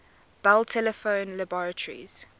bell telephone laboratories